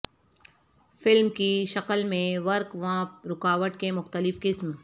film کی شکل میں ورق وانپ رکاوٹ کے مختلف قسم